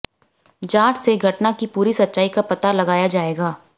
जांच से घटना की पूरी सच्चाई का पता लगाया जाएगा